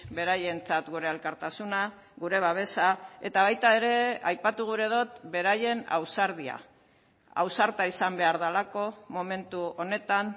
beraientzat gure elkartasuna gure babesa eta baita ere aipatu gura dut beraien ausardia ausarta izan behar delako momentu honetan